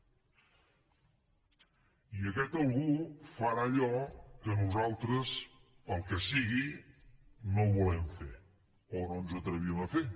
i aquest algú farà allò que nosaltres pel que sigui no volem fer o no ens atrevim a fer